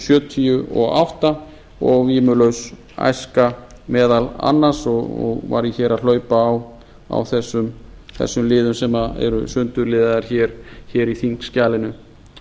sjötíu og átta og vímulaus æska meðal annars og var ég hér að hlaupa á þessum liðum sem eru sundurliðaðir í þingskjalinu